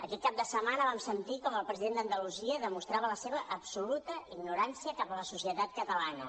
aquest cap de setmana vam sentir com el president d’andalusia demostrava la seva absoluta ignorància cap a la societat catalana